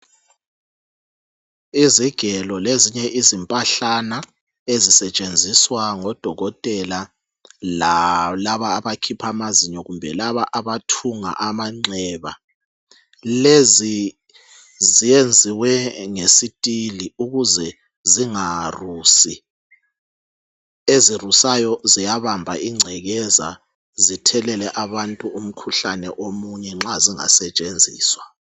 Izigelo lezinye izimpahlana ezisetshenziswa ngodokotela lalaba abakhipha amazinyo kumbe laba abathunga amanxeba. Lezi zenziwe ngesitili ukuze zingarusi. Ezirusayo ziyabamba ingcekeza zithelele abantu umkhuhlane omunye nxa zingasetshenziswa.